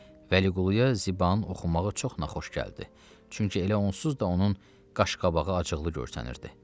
Vəliquluya Zibanın oxumağı çox naxoş gəldi, çünki elə onsuz da onun qaş-qabağı acıqlı görsənirdi.